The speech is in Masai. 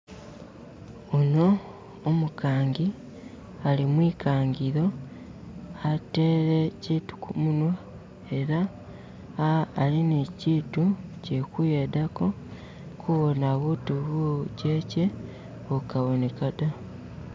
Uno umukangi ali mwikangilo ateele kyitu kumunwa ela ali nikyitu kyikuyedako kuwona butu bujeche bukaboneka da